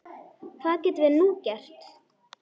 Hvað getum við nú gert?